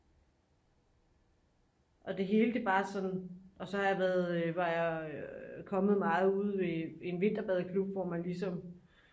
og det hele det bare sådan og så har jeg været var jeg kommet meget ude ved en vinterbadeklub hvor man ligesom